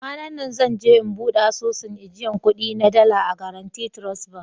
Kwananna zan je in bude asusun ajiyan kudi na dala a " guarantee trust bank".